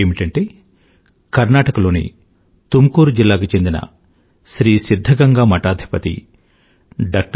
ఏమిటంటే కర్ణాటక లోని తుముకూరు జిల్లాకు చెందిన శ్రీ సిధ్ధగంగా మఠాథిపతి డా